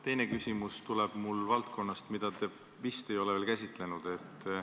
Teine küsimus tuleb mul valdkonnast, mida te vist ei ole veel käsitlenud.